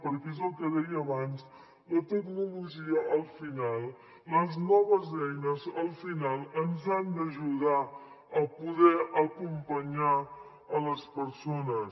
perquè és el que deia abans la tecnologia al final les noves eines al final ens han d’ajudar a poder acompanyar les persones